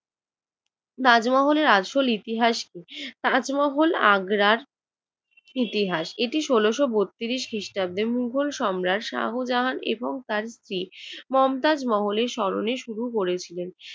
তাজমহলের আসল ইতিহাস কি? তাজমহল আগ্রার ইতিহাস। এটি ষোলশ বত্রিশ খ্রিস্টাব্দে মোগল সম্রাট শাহজাহান এবং তার স্ত্রী মমতাজ মহলের স্মরণে শুরু করেছিলেন